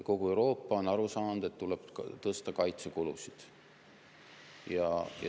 Kogu Euroopa on aru saanud, et tuleb tõsta kaitsekulusid.